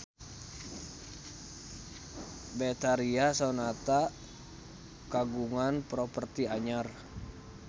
Betharia Sonata kagungan properti anyar